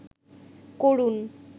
করুন